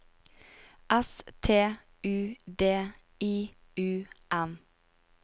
S T U D I U M